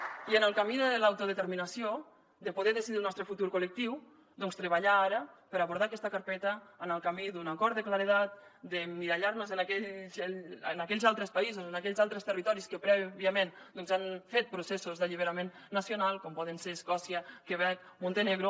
i en el camí de l’autodeterminació de poder decidir el nostre futur col·lectiu doncs treballar ara per abordar aquesta carpeta en el camí d’un acord de claredat d’emmirallar nos en aquells altres països en aquells altres territoris que prèviament han fet processos d’alliberament nacional com poden ser escòcia quebec montenegro